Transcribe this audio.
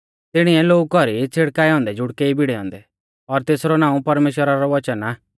तिणिऐ लोऊ कौरी छ़िड़काऐ औन्दै जुड़कै ई भिड़ै औन्दै और तेसरौ नाऊं परमेश्‍वरा रौ वचन आ